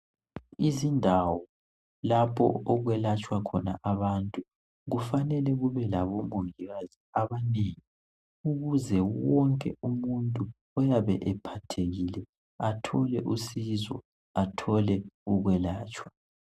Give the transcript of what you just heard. izindawo lapho okwelatshwa khona abantu kufanele kube labo mongikazi abanengi ukuze wonke umuntu oyabe ephathekile athole usizo athole ukwelatshwa